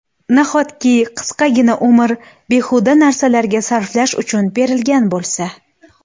Nahotki qisqagina umr behuda narsalarga sarflash uchun berilgan bo‘lsa?!